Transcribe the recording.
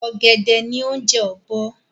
Ọ̀gẹ̀dẹ̀ ni oúnjẹ ọ́bọ́